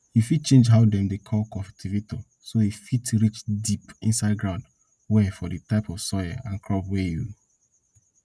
you fit change how dem dey call cultivator so e fit reach deep inside ground well for di type of soil and crop wey you